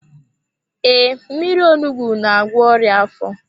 Ee, mmírí onugbu n'agwọ ọrịa afọ.